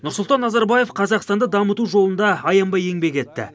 нұрсұлтан назарбаев қазақстанды дамыту жолында аянбай еңбек етті